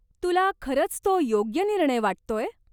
तुला खरंच तो योग्य निर्णय वाटतोय?